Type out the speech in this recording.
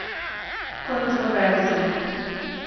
Kontroverzno.